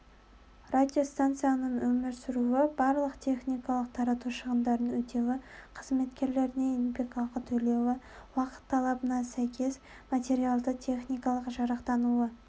радиостанцияның өмір сүруі барлық техникалық тарату шығындарын өтеуі қызметкерлеріне еңбекақы төлеуі уақыт талабына сәйкес материальды-техникалық жарақтануы